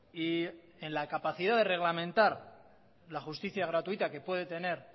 y en la capacidad de reglamentar la justicia gratuita que puede tener